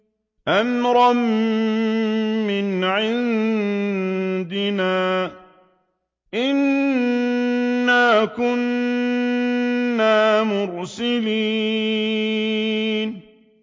أَمْرًا مِّنْ عِندِنَا ۚ إِنَّا كُنَّا مُرْسِلِينَ